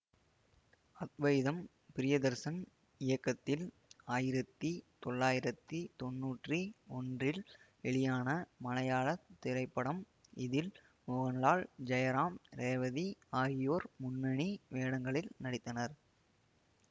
அத்வைதம் பிரியதர்சன் இயக்கத்தில் ஆயிரத்தி தொளாயிரத்தி தொண்ணூற்றி ஒன்றில் வெளியான மலையாள திரைப்படம் இதில் மோகன்லால் ஜெயராம் ரேவதி ஆகியோர் முன்னணி வேடங்களில் நடித்தனர்